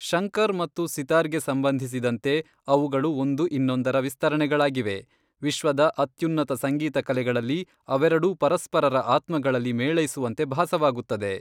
ಶಂಕರ್ ಮತ್ತು ಸಿತಾರ್ಗೆ ಸಂಬಂಧಿಸಿದಂತೆ, ಅವುಗಳು ಒಂದು ಇನ್ನೊಂದರ ವಿಸ್ತರಣೆಗಳಾಗಿವೆ, ವಿಶ್ವದ ಅತ್ಯುನ್ನತ ಸಂಗೀತ ಕಲೆಗಳಲ್ಲಿ ಅವೆರಡೂ ಪರಸ್ಪರರ ಆತ್ಮಗಳಲ್ಲಿ ಮೇಳೈಸುವಂತೆ ಭಾಸವಾಗುತ್ತದೆ.